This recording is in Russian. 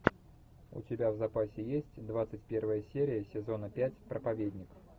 у тебя в запасе есть двадцать первая серия сезона пять проповедник